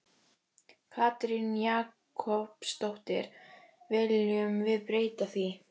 Katrín Jakobsdóttir: Viljum við breyta því?